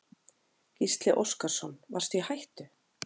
Gísli Óskarsson: Varstu í hættu?